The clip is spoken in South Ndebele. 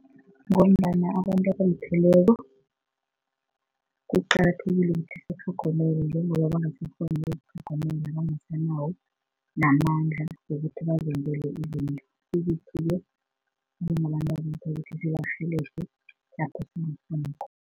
Ngombana abantu abalupheleko, kuqakathekile ukuthi sibatlhogomelo njengoba bangasakghoni ukuzitlhogomela bangasanawo namandla wokuthi bazenzele izinto ezithile. Njengabantu abalupheleko kufanele sibarhelebha lapha singakghona khona.